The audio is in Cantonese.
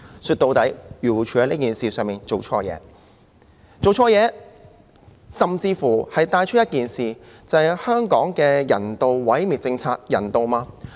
說到底，漁護署在此事上做錯了，這甚至帶出一件事，就是香港的人道毀滅政策人道嗎？